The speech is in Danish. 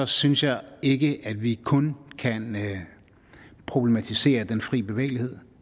synes jeg ikke at vi kun kan problematisere den fri bevægelighed